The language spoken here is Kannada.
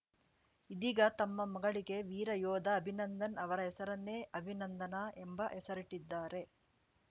ಇದೀಗ ತಮ್ಮ ಮಗಳಿಗೆ ವೀರ ಯೋಧ ಅಂಭಿನಂದನ್‌ ಅವರ ಹೆಸರನ್ನೇ ಅಭಿನಂದನಾ ಎಂಬ ಹೆಸರಿಟ್ಟಿದ್ದಾರೆ